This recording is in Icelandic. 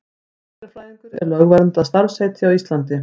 Næringarfræðingur er lögverndað starfsheiti á Íslandi.